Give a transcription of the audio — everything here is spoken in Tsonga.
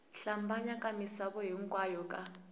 hlambanya ka misava hinkwayo ka